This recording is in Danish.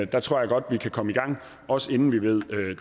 der tror jeg godt vi kan komme i gang også inden vi ved